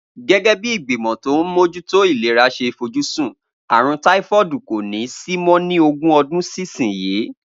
Gégé̩ bí ìgbìmò̩ tó ń mójútó ìlera s̩e fojúsùn, àrùn táífó̩ò̩dù kò ní sí mó̩ ni ogún o̩dún sísinyìí